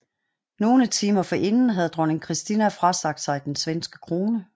Nogle timer forinden havde dronning Kristina frasagt sig den svenske krone